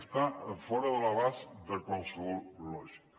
està fora de l’abast de qualsevol lògica